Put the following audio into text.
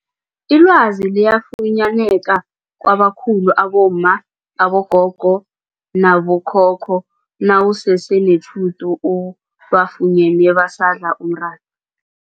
Ilwazi liyafunyaneka kwabakhulu abomma, abogogo nabo khokho nawusese netjhudu ubafunyene badla umratha.